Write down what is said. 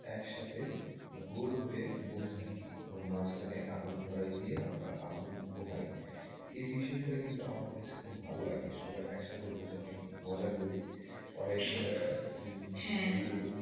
একসাথে গোল হয়ে বসে থাকি এবং মাঝখানে আগুন ধরায় দিয়ে আমরা আগুন পোহাই এই বিষয়টা কিন্তু আমার কাছে খুব ভালো লাগে সবাই একসাথে বসে থাকি মজা করি অনেক হ্যাঁ পুরো,